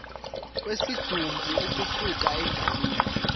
kwesidumbu ukusuka endaweni